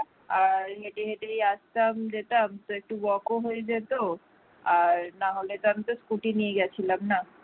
আর হেঁটে হেঁটেই আসতাম যেতাম তো একটু walk হয়ে যেত আর না হলে না হলে তো আমি scooty নিয়ে গিয়েছিলাম না